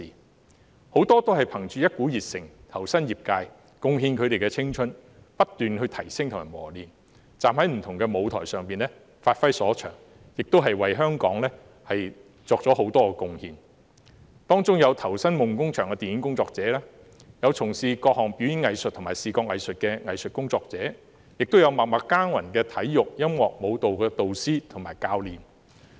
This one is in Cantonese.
他們有很多是憑着一股熱誠投身業界，貢獻他們的青春，不斷提升及磨練自己，站在不同的舞台上發揮所長，亦為香港作出了很多貢獻，當中有投身夢工場的電影工作者，有從事各項表演藝術和視覺藝術的藝術工作者，亦有默默耕耘的體育、音樂和舞蹈導師和教練。